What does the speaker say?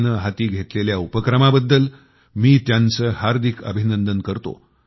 ने हाती घेतलेल्या या उपक्रमाबद्दल मी त्यांचे हार्दिक अभिनंदन करतो